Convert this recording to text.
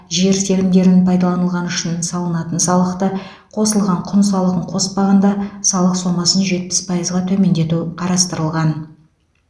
жер телімдерін пайдаланылғаны үшін салынатын салықты қосылған құн салығын қоспағанда салық сомасын жетпіс пайызға төмендету қарастырылған